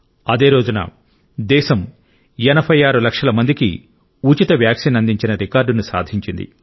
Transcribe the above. అదే రోజున దేశం 86 లక్షల మందికి ఉచిత వ్యాక్సిన్ అందించిన రికార్డును సాధించింది